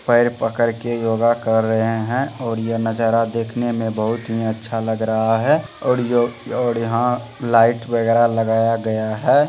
पैर पकड़ के योगा कर रहे हैं और ये नजारा देखने में बहुत ही अच्छा लग रहा है और यह और यहाँ लाइट वगेरा लगाया गया है।